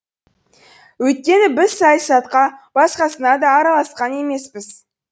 өйткені біз саясатқа басқасына да араласқан емеспіз